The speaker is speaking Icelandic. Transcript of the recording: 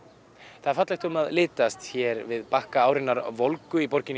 það er fallegt um að litast hér við bakka árinnar volgu í borginni